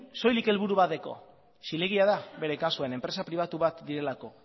soilik helburuk bat dauka zilegia da bere kasuan enpresa pribatu bat direlako